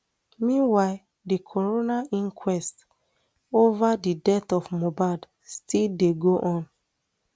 meanwhile di coroner inquest ova di death of mohbad still dey go on